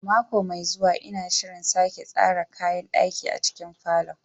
A mako mai zuwa, ina shirin sake tsara kayan ɗaki a cikin falon.